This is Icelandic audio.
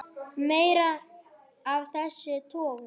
Meira af þessum toga.